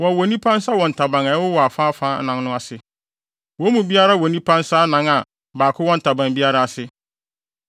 Wɔwowɔ nnipa nsa wɔ ntaban a ɛwowɔ afaafa anan no ase. Wɔn mu biara wɔ nnipa nsa anan a baako wɔ ntaban biara ase,